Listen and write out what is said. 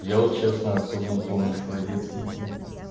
я вот честно особо не помню свои детские сны